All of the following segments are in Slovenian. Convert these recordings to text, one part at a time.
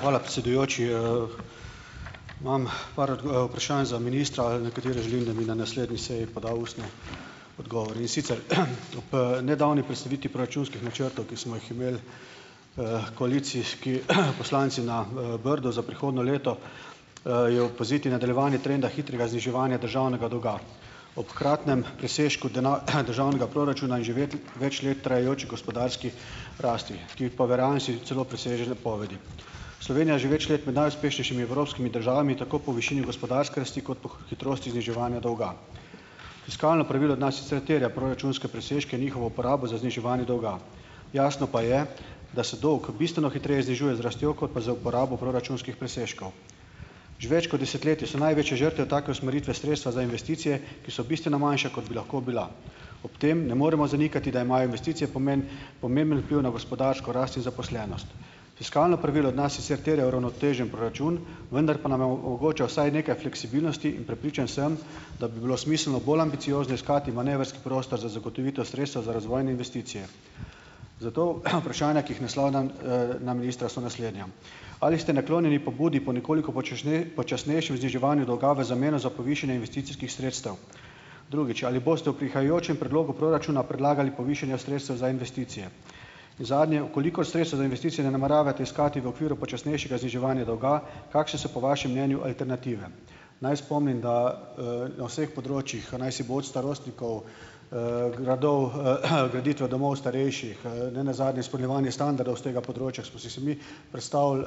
Hvala, predsedujoči. Imam par vprašanj za ministra, za katere želim, da mi na naslednji seji poda ustno odgovor. In sicer ob, nedavni predstavitvi proračunskih načrtov, ki smo jih imeli, koalicijski poslanci na, Brdu za prihodnje leto, je opaziti nadaljevanje trenda hitrega zniževanja državnega dolga. Ob hkratnem presežku državnega proračuna in že vedeti več let trajajoči gospodarski rasti, ki pa v realnosti celo preseže napovedi. Slovenija je že več let med najuspešnejšimi evropskimi državami, tako po višini gospodarske rasti kot po hitrosti zniževanja dolga. Fiskalno pravilo od nas sicer terja proračunske presežke, njihovo uporabo za zniževanje dolga. Jasno pa je, da se dolg bistveno hitreje znižuje z rastjo, kot pa z uporabo proračunskih presežkov. Že več kot desetletje so največje žrtve take usmeritve sredstva za investicije, ki so bistveno manjša, kot bi lahko bila. Ob tem ne moremo zanikati, da imajo investicije pomemben vpliv na gospodarsko rast in zaposlenost. Fiskalno pravilo od nas sicer terja uravnotežen proračun, vendar pa nam omogoča vsaj nekaj fleksibilnosti in prepričan sem, da bi bilo smiselno bolj ambiciozno iskati manevrski prostor za zagotovitev sredstev za razvoj in investicije. Zato vprašanja, ki jih naslavljam, na ministra so naslednja: Ali ste naklonjeni pobudi po nekoliko počasnejšem zniževanju dolga v zameno za povišanje investicijskih sredstev? Drugič, ali boste v prihajajočem predlogu proračuna predlagali povišanja sredstev za investicije? In zadnje, v kolikor sredstev za investicije ne nameravate iskati v okviru počasnejšega zniževanja dolga, kakšne so, po vašem mnenju, alternative? Naj spomnim, da, na vseh področjih, pa naj si bo od starostnikov, gradov, graditve domov starejših, ne nazadnje izpolnjevanje standardov s tega področja, smo si se mi predstavili, ...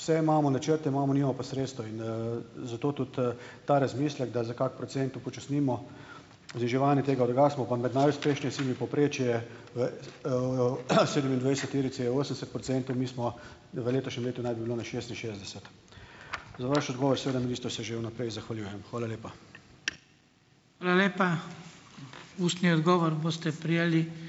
Vse imamo, načrte imamo, nimamo pa sredstev. In, zato tudi, ta razmislek, da za kak procent upočasnimo zniževanje tega. Drugače smo pa med najuspešnejšimi. Povprečje, sedemindvajseterice je osemdeset procentov. Mi smo v letošnjem letu naj bi bilo na šestinšestdeset. Za vaš odgovor, seveda minister, se že v naprej zahvaljujem. Hvala lepa.